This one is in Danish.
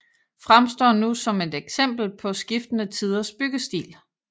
Fremstår nu som et eksempel på skiftende tiders byggestil